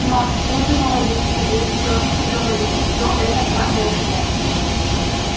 но следовало ли тебе всё-таки говорить всё это про эшли